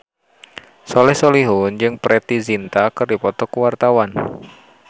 Soleh Solihun jeung Preity Zinta keur dipoto ku wartawan